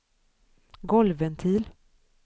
golvventil